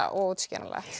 óútskýranlegt